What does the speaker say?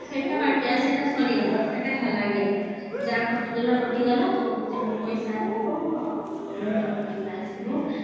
ସେଟା ବାକି ଆଉ ସେଟା ସରିଗଲା ସେଟା ହେଲାନି ଆଉ ଯା କଟିଗଲା କଟିଗଲା ତ ଯାହା ପଇସା ଆସିବା ଆଉ ରୋହିତର ପଇସା ଆସିବ